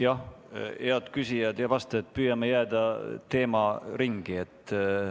Jah, head küsijad ja vastajad, püüame jääda teemaringi.